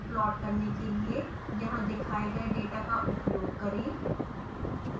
plot करने के लिए यहाँ दिखाए गए डेटा का उपयोग करें